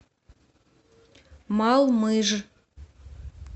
малмыж